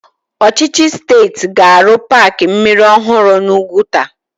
Ọchịchị steeti ga-arụ paaki mmiri ọhụrụ n'Úgwùtà.